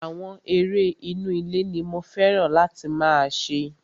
Àwọn eré inú ilé ní mo fẹ́ràn láti máa ṣe.